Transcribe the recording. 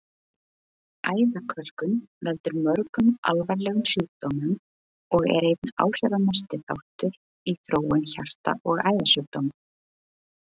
Æðakölkun veldur mörgum alvarlegum sjúkdómum og er einn áhrifamesti þáttur í þróun hjarta- og æðasjúkdóma.